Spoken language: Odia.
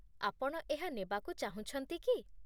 ଆପଣ ଏହା ନେବାକୁ ଚାହୁଁଛନ୍ତି କି?